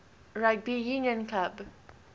rugby union club